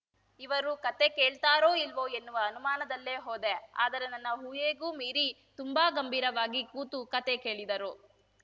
ಇವರು ಕತೆ ಕೇಳ್ತಾರೋ ಇಲ್ವೋ ಎನ್ನುವ ಅನುಮಾನದಲ್ಲೇ ಹೋದೆ ಆದರೆ ನನ್ನ ಊಹೆಗೂ ಮೀರಿ ತುಂಬಾ ಗಂಭೀರವಾಗಿ ಕೂತು ಕತೆ ಕೇಳಿದರು